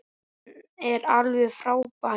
Hann er alveg frábær.